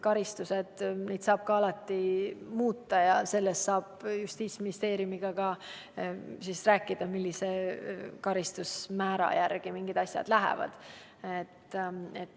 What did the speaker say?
Karistusi saab alati muuta ja sellest saab Justiitsministeeriumiga ka rääkida, millise karistusmäära järgi mingid asjad lähevad.